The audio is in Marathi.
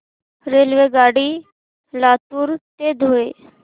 रेल्वेगाडी लातूर ते धुळे